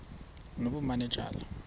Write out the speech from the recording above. nobumanejala